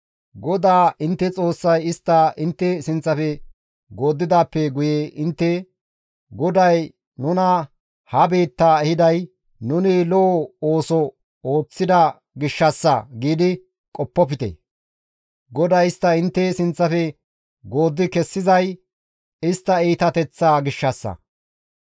GODAA intte Xoossay istta intte sinththafe gooddidaappe guye intte, «GODAY nuna ha biittaa ehiday nuni lo7o ooso ooththida gishshassa» giidi qoppofte; GODAY istta intte sinththafe gooddi kessizay istta iitateththaa gishshassa.